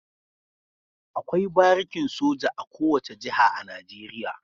Akwai barikin soja a kowace jiha a Najeriya.